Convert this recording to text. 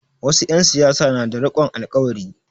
Wasu 'yan siyasa na da rikon alƙawari.